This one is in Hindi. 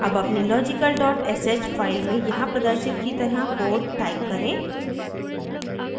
अब अपनी logical sh file में यहाँ प्रदर्शित की तरह code type करें